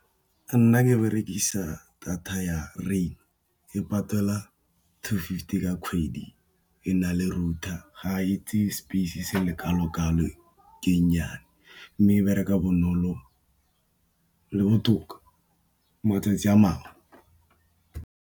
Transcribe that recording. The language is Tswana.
Nna ke berekisa data ya rain e patela two fifty ka kgwedi e na le rouer, ga e tseye space se le kalo-kalo ke e nnyane, mme e bereka bonolo le botoka matsatsi a mangwe.